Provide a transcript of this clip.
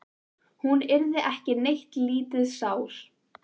Hún yrði ekki neitt lítið sár.